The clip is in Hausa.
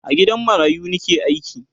a gidan marayu Nike aiki